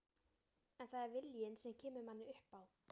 En það er viljinn sem kemur manni upp á